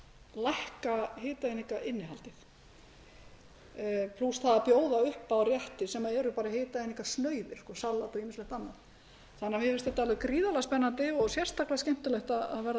lækka hitaeiningainnihaldið plús það að bjóða upp á rétti sem eru bara hitaeiningasnauðir salat og ýmislegt annað mér finnst þetta alveg gríðarlega spennandi og sérstaklega skemmtilegt að verða vitni að